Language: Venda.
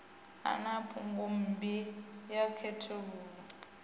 a na phungommbi a khethululwa